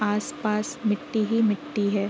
आस-पास मिट्टीही मिट्टी हैं।